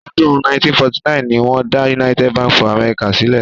Ọdún 1949 ni wọ́n dá United Bank for Africa sílẹ̀.